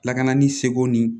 Lakana ni seko ni